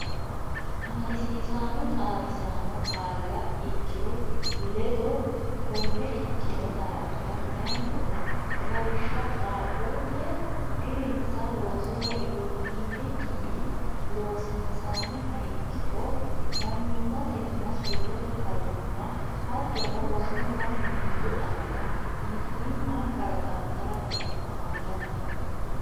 Amadisiisaano xaadisaano qaalla ikkiro ledo konne ikkino daafira kayinnilla Lawishsha Qaaqquulle dirinsa loosoho iillikkinni loosiinsiha ikkiro mannimmatenna surrete fayyimma hattono rosunna miinju aana mitiimma kalaqantara dandiitanno.